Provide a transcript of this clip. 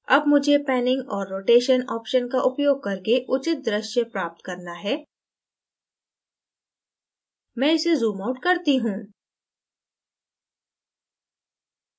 अब मुझे panning और rotation option का उपयोग करके उचित दृश्य प्राप्त करना है मैं इसे zoomout करता हूँ